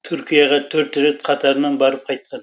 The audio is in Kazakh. түркияға төрт рет қатарынан барып қайтқан